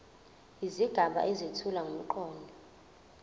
izigaba ezethula ngomqondo